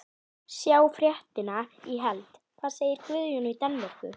Sjá fréttina í heild: Hvað segir Guðjón í Danmörku?